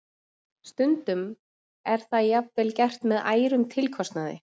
Stundum er það jafnvel gert með ærnum tilkostnaði.